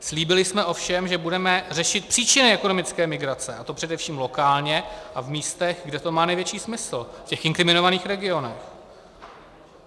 Slíbili jsme ovšem, že budeme řešit příčiny ekonomické migrace, a to především lokálně a v místech, kde to má největší smysl, v těch inkriminovaných regionech.